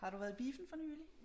Har du været i biffen for nyligt?